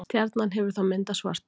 stjarnan hefur þá myndað svarthol